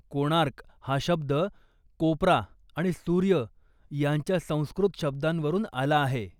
कोणार्क' हा शब्द कोपरा आणि सूर्य यांच्या संस्कृत शब्दांवरून आला आहे.